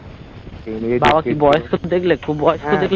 বাবা কি বয়স্ক দেখলে খুব খুব বয়স্ক দেখলে?